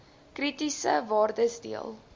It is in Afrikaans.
kritiese waardes deel